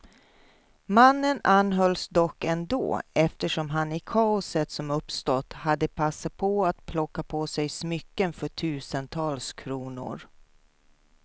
Mannen anhölls dock ändå, eftersom han i kaoset som uppstått hade passat på att plocka på sig smycken för tusentals kronor.